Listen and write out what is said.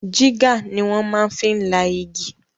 Jígà ni wọ́n maá fi la igi